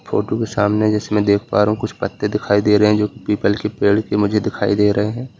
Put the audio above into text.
Photo के सामने जैसे मै देख पा रहा हु कुछ पत्ते दिखाई दे रहे जो कि पीपल के पेड़ के मुझे दिखाई दे रहे है।